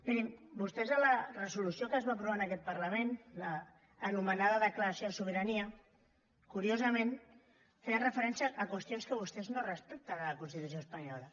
mirin vostès en la resolució que es va aprovar en aquest parlament anomenada declaració de sobirania curiosament feien referència a qüestions que vostès no respecten de la constitució espanyola